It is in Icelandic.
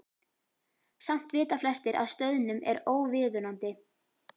Samt vita flestir að stöðnun er óviðunandi.